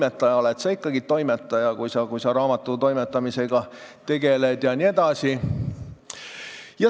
Sa oled ikkagi toimetaja, kui sa raamatu toimetamisega tegeled jne.